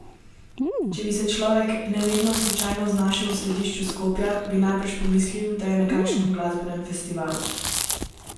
Če bi se človek nevedno slučajno znašel v središču Skopja, bi najbrž pomislil, da je na kakšen glasbenem festivalu.